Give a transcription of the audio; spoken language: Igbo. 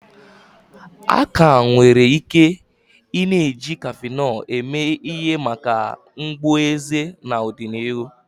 A ka nwere ike i-na eji kafinol eme ihe maka mgbu eze n'ọdịnihu.